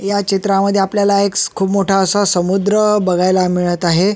या चित्रामध्ये आपल्याला एक स खूप मोठा असा समुद्र बघायला मिळत आहे.